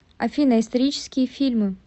афина исторические фильмы